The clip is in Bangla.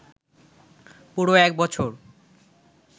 পুরো এক বছর